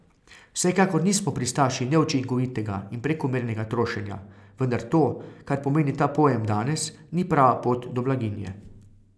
Vsekakor nismo pristaši neučinkovitega in prekomernega trošenja, vendar to, kar pomeni ta pojem danes, ni prava pot do blaginje.